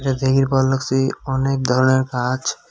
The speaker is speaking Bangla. এদিকের ভাল লাগছে অনেক ধরনের গাছ।